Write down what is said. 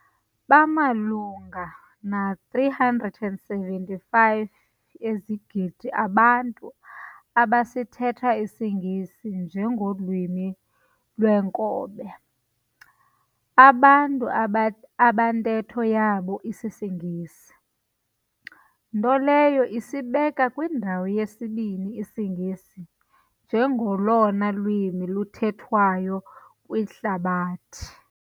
Bamalunga na-375 ezigidi abantu abasithetha isingesi nje ngolwimi lweenkobe, abantu abantetho yabo isisiNgesi, nto leyo esibeka kwindawo yesibini isiNgesi njengolona lwimi luthethwayo kwihlabathi.